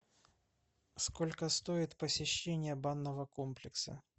сколько стоит посещение банного комплекса